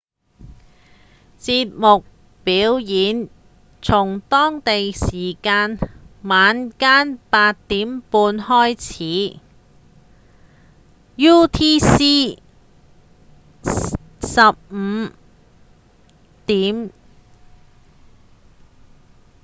表演節目從當地時間晚間8點半開始 utc 15:00